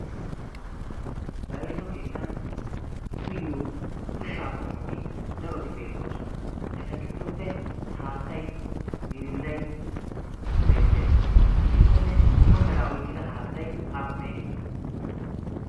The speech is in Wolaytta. bayzo keettan uyyo ushshaa qommoti daroti beettoosona. eta giddoppe haattay meerindday beettees. gitikkonne dumma meraa oyqqida haattay aappunay de'ii